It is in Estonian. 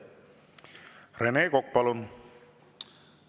Rene Kokk, palun!